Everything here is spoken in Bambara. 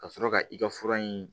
Ka sɔrɔ ka i ka fura in